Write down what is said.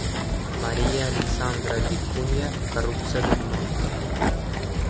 Mariya Alexandra Vikunya korrupsiyada gumon qilinmoqda.